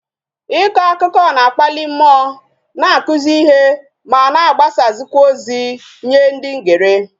Iko akụkọ na-akpali mmụọ, na-akụzi ihe ma na agbasazikwa ozi nye ndi ngere